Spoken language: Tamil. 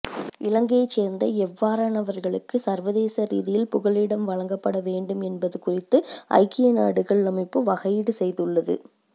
இலங்கையைச் சேர்ந்த எவ்வாறானவர்களுக்கு சர்வதேச ரீதியில் புகலிடம் வழங்கப்பட வேண்டும் என்பது குறித்து ஐக்கிய நாடுகள் அமைப்பு வகையீடு செய்துள்ளது